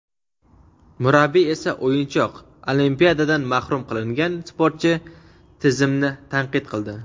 murabbiy esa o‘yinchoq — Olimpiadadan mahrum qilingan sportchi tizimni tanqid qildi.